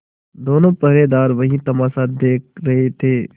दोनों पहरेदार वही तमाशा देख रहे थे